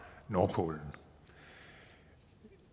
nordpolen